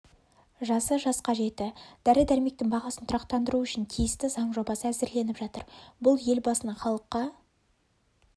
жасы жасқа жетті дәрі-дәрмектің бағасын тұрақтандыру үшін тиісті заң жобасы әзірленіп жатыр бұл елбасының халыққа